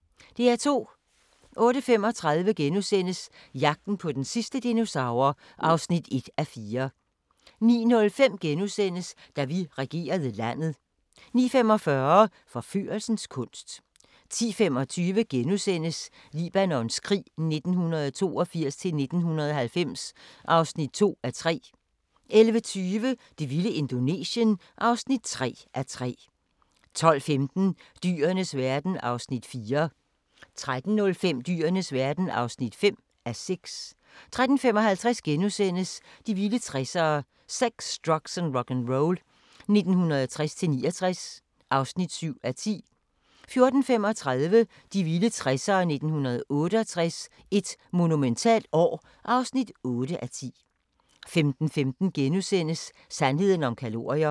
08:35: Jagten på den sidste dinosaur (1:4)* 09:05: Da vi regerede landet * 09:45: Forførelsens kunst 10:25: Libanons krig 1982-1990 (2:3)* 11:20: Det vilde Indonesien (3:3) 12:15: Dyrenes verden (4:6) 13:05: Dyrenes verden (5:6) 13:55: De vilde 60'ere: Sex, drugs & rock'n'roll 1960-69 (7:10)* 14:35: De vilde 60'ere: 1968 – et monumentalt år (8:10) 15:15: Sandheden om kalorier *